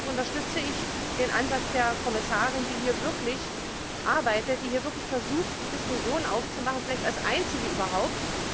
Deshalb unterstütze ich den Ansatz der Kommissarin, die hier wirklich arbeitet und versucht, die Diskussion aufzumachen, vielleicht als einzige überhaupt.